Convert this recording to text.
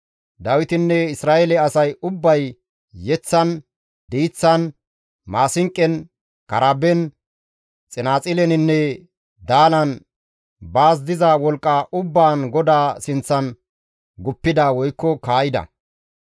Dawitinne Isra7eele asay ubbay yeththan, diiththan, maasinqon, karaben, xinaaxileninne daalan baas diza wolqqa ubbaan GODAA sinththan guppida (kaa7ida).